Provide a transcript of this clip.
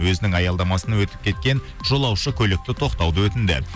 өзінің аялдамасын өтіп кеткен жолаушы көлікті тоқтауды өтінді